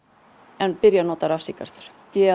en byrja að nota rafsígarettur